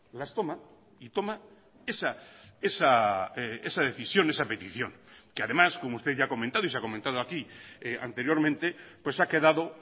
las toma y toma esa decisión esa petición que además como usted ya ha comentado y se ha comentado aquí anteriormente pues ha quedado